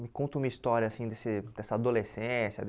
Me conta uma história assim desse dessa adolescência.